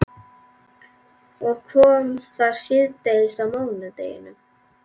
Og kom þar síðdegis á mánudeginum.